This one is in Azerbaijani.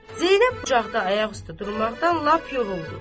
Zeynəb qucaqda ayaq üstə durmaqdan lap yoruldu.